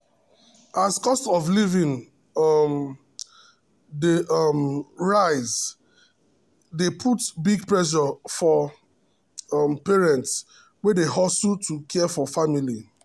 as cost of living um dey um rise e dey put big pressure for um parents wey dey hustle to care for family.